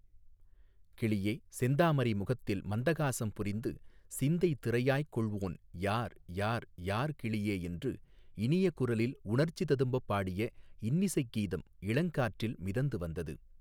கிளியே செந்தாமரை முகத்தில் மந்தகாசம் புரிந்து சிந்தை திரையாய்க் கொள்வோன் யார் யார் யார் கிளியே என்று இனிய குரலில் உணர்ச்சி ததும்பப் பாடிய இன்னிசைக் கீதம் இளங்காற்றிலே மிதந்து வந்தது.